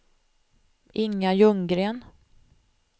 Inga Ljunggren